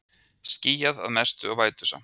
Skýjað að mestu og vætusamt